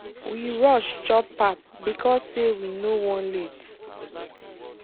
we rush chop pap because say we no wan late.